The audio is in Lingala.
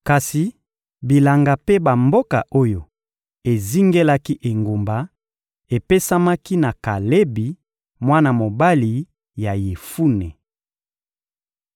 Kasi bilanga mpe bamboka oyo ezingelaki engumba, epesamaki na Kalebi, mwana mobali ya Yefune.